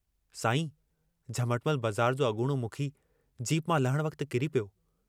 साईं झमटमल बज़ार जो अगूणो मुखी जीप मां लहण वक्त किरी पियो।